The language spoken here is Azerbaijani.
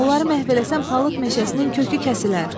Onları məhv eləsən palıd meşəsinin kökü kəsilər.